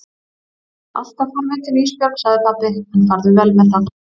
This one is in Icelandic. Vertu alltaf forvitin Ísbjörg, sagði pabbi, en farðu vel með það.